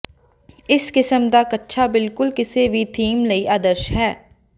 ਇਸ ਕਿਸਮ ਦਾ ਕੱਛਾ ਬਿਲਕੁਲ ਕਿਸੇ ਵੀ ਥੀਮ ਲਈ ਆਦਰਸ਼ ਹੈ